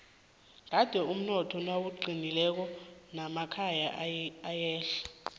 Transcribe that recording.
kandi umnotho nawuqinileko namakonyana ayehla